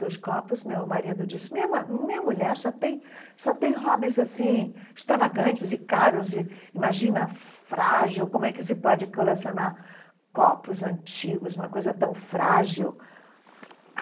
dos copos, meu marido disse, minha ma minha mulher só tem só tem hobbies assim extravagantes e caros, e imagina, frágil, como é que se pode colecionar copos antigos, uma coisa tão frágil?